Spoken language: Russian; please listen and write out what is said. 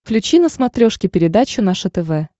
включи на смотрешке передачу наше тв